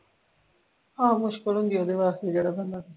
ਆਹੋ ਮੁਸ਼ਕਿਲ ਹੁੰਦੀ ਆ ਉਦੇ ਵਾਸਤੇ ਜਿਹੜਾ ਬੰਦਾ ਰਹਿੰਦਾ